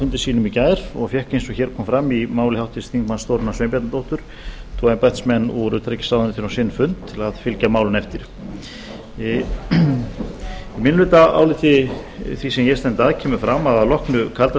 fundi sínum í gær og fékk eins og hér kom fram í máli háttvirts þingmanns þórunnar sveinbjarnardóttur tvo embættismenn úr utanríkisráðuneytinu á sinn fund til að fylgja málinu eftir í minnihlutaáliti því sem ég stend að kemur fram að að loknu kalda